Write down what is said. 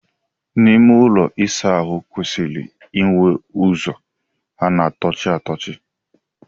Ime ụlọ ịsa ahụ kwesịrị inwe ụzọ a na-atụchi atụchi.